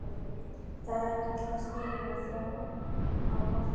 Það er kalt að stíga fram úr á morgnana.